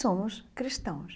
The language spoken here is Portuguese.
Somos cristãos.